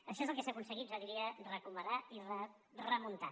això és el que s’ha aconseguit jo diria recuperar i remuntar